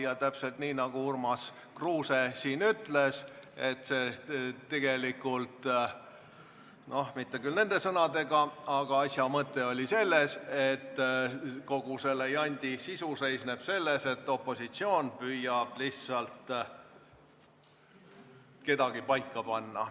Ja täpselt nii, nagu Urmas Kruuse siin ütles, seisneb tegelikult – mitte küll nende sõnadega, aga asja mõte oli selles – kogu selle jandi sisu selles, et opositsioon püüab lihtsalt kedagi paika panna.